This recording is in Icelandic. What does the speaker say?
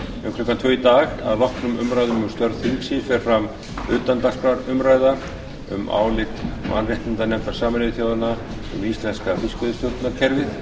um klukkan tvö í dag að loknum umræðum um störf þingsins fer fram utandagskrárumræða um álit mannréttindanefndar sameinuðu þjóðanna um íslenska fiskveiðistjórnarkerfið